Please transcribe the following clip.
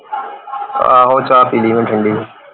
ਆਹੋ ਚਾਅ ਪੀ ਲਈ ਮੈਂ ਠੰਡੀ